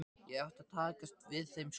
Ég átti að taka við þeim skóla.